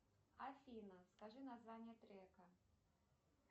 афина скажи название трека